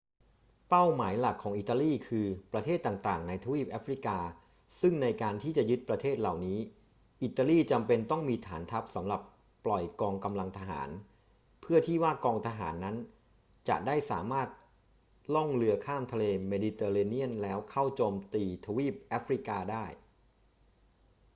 เป้าหมายหลักของอิตาลีคือประเทศต่าง ๆ ในทวีปแอฟริกา ซึ่งในการที่จะยึดประเทศเหล่านี้ อิตาลีจำเป็นต้องมีฐานทัพสำหรับปล่อยกองกำลังทหาร เพื่อที่ว่ากองทหารนั้นจะได้สามารถล่องเรือข้ามทะเลเมดิเตอร์เรเนียนแล้วเข้าโจมตีทวีปแอฟริกาได้